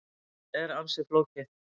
Þetta er ansi flókið.